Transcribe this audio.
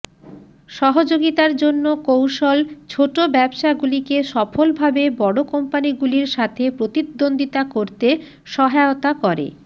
সহযোগিতার জন্য কৌশল ছোট ব্যবসাগুলিকে সফলভাবে বড় কোম্পানিগুলির সাথে প্রতিদ্বন্দ্বিতা করতে সহায়তা করে